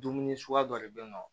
Dumuni suguya dɔ de be yen nɔ